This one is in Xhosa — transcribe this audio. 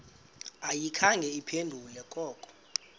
ayikhange iphendule koko